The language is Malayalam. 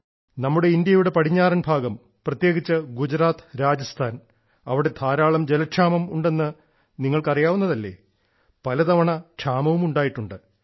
നമ്മുടെ ഇന്ത്യയുടെ പടിഞ്ഞാറൻ ഭാഗം പ്രത്യേകിച്ച് ഗുജറാത്ത് രാജസ്ഥാൻ അവിടെ ധാരാളം ജലക്ഷാമം ഉണ്ടെന്ന് നിങ്ങൾക്ക് അറിയാവുന്നതല്ലേ പലതവണ ക്ഷാമവും ഉണ്ടായിട്ടുണ്ട്